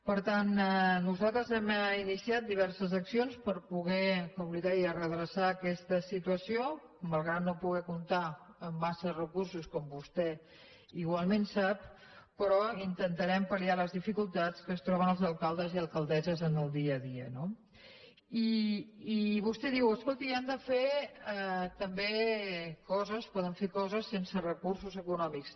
per tant nosaltres hem iniciat diverses accions per poder com li deia redreçar aquesta situació malgrat no poder comptar amb massa recursos com vostè igualment sap però intentarem pal·liar les dificultats que es troben els alcaldes i alcaldesses en el dia a dia no i vostè diu escolti han de fer també coses poden fer coses sense recursos econòmics